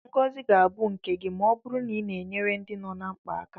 Ngozi ga-abụ nke gị ma ọ bụrụ na ị na-enyere ndị nọ na mkpa aka.